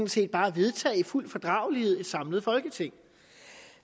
set bare vedtage i fuld fordragelighed i et samlet folketing